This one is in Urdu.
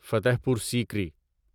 فتح پور سیکری